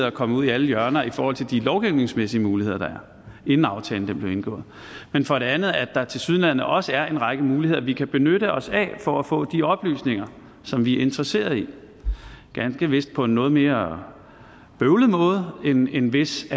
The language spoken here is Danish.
er kommet ud i alle hjørner i forhold til de lovgivningsmæssige muligheder der er inden aftalen blev indgået men for det andet at der tilsyneladende også er en række muligheder vi kan benytte os af for at få de oplysninger som vi er interesseret i ganske vist på en noget mere bøvlet måde end hvis